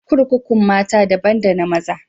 Kurkukun mata dabban da na maza.